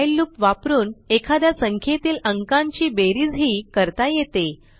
while loop वापरून एखाद्या संख्येतील अंकांची बेरीजही करता येते